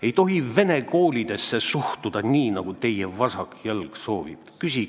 Ei tohi vene koolidesse suhtuda nii, nagu teie vasak jalg soovib!